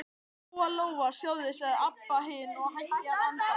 Lóa-Lóa, sjáðu, sagði Abba hin og hætti að anda.